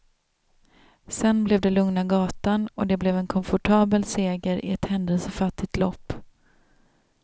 Sen blev det lugna gatan och det blev en komfortabel seger i ett händelsefattigt lopp.